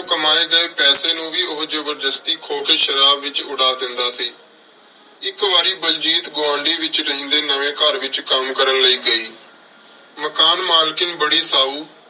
ਕਮਾਏ ਗਏ ਪੈਸੇ ਨੂੰ ਵੀ ਉਹ ਜ਼ਬਰਦਸਤੀ ਖੋ ਕੇ ਸ਼ਰਾਬ ਵਿੱਚ ਉਡਾ ਦਿੰਦਾ ਸੀ। ਇੱਕ ਵਾਰੀ ਬਲਜੀਤ ਗੁਆਂਢ ਵਿੱਚ ਰਹਿੰਦੇ ਨਵੇਂ ਘਰ ਵਿੱਚ ਕੰਮ ਕਰਨ ਲਈ ਗਈ। ਮਕਾਨ ਮਾਲਕਣ ਬੜੀ ਸਾਊ